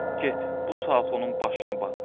Get, bu saat onun başını batır.